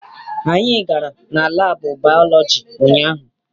Anyị gara na laabụ baalọji ụnyaahụ.